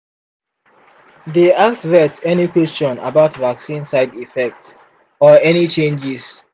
dey ask vet any question about vaccine side effect or any changes.